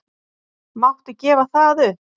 Máttu gefa það upp?